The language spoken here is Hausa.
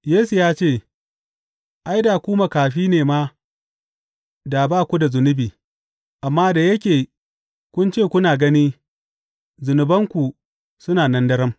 Yesu ya ce, Ai, da ku makafi ne ma, da ba ku da zunubi, amma da yake kun ce, kuna gani, zunubanku suna nan daram.